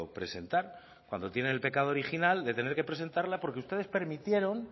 presentar cuando tienen el pecado original de tener que presentarla porque ustedes permitieron